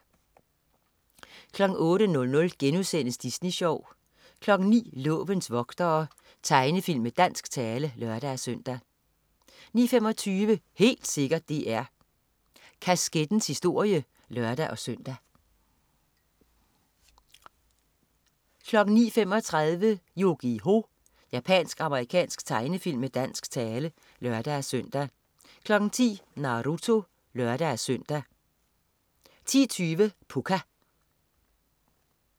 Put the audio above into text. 08.00 Disney Sjov* 09.00 Lovens vogtere. Tegnefilm med dansk tale (lør-søn) 09.25 Helt sikkert DR. Kaskettens historie (lør-søn) 09.35 Yu-Gi-Oh! Japansk-amerikansk tegnefilm med dansk tale (lør-søn) 10.00 Naruto (lør-søn) 10.20 Pucca